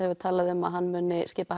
talað um að hann muni skipa